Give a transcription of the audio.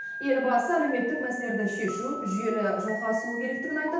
елбасы әлеуметтік мәселелерді шешу жүйелі жалғасуы керектігін айтып